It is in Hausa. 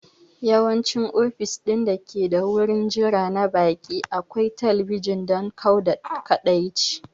Yawanci ofis ɗin dake da wurin jira na baƙi akwai talabijin don kau da kaɗaici